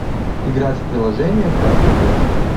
играть в приложение красный мяч